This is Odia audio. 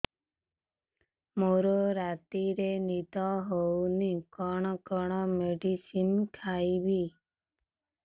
ମୋର ରାତିରେ ନିଦ ହଉନି କଣ କଣ ମେଡିସିନ ଖାଇବି